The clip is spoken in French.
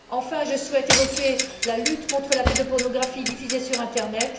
Enfin, je souhaite évoquer la lutte contre la pédopornographie diffusée sur l'internet.